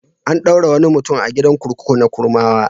An ɗaure wani mutum a gidan kurkuku na Kurmawa.